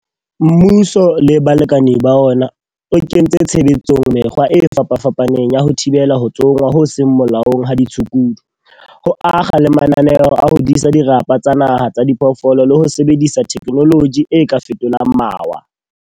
Mmuso le balekane ba ona, o kentse tshebetsong mekgwa e fapafapaneng ya ho thibela ho tsongwa ho seng molaong ha ditshukudu, ho akga le mananeo a ho disa dirapa tsa naha tsa diphoofolo le ho sebedisa thekenoloji e ka fetolang mawa.